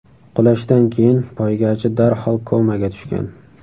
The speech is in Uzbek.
Qulashdan keyin poygachi darhol komaga tushgan.